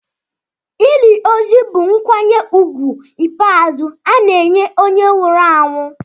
Ili ozu bụ nkwanye ùgwù ikpeazụ ana-enye onye nwụrụ anwụ.